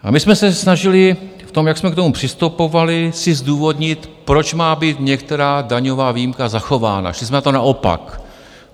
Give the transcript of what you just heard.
A my jsme se snažili v tom, jak jsme k tomu přistupovali, si zdůvodnit, proč má být některá daňová výjimka zachována, šli jsme na to naopak.